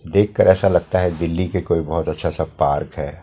देखकर ऐसा लगता है दिल्ली के कोई बहुत अच्छा सा पार्क है।